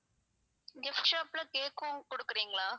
gift shop ல cake உம் கொடுக்குறீங்களா?